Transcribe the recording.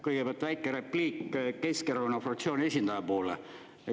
Kõigepealt väike repliik Keskerakonna fraktsiooni esindaja poole.